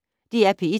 DR P1